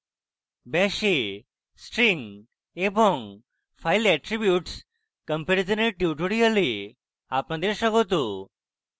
bash এ string এবং file attributes comparison dear tutorial আপনাদের স্বাগত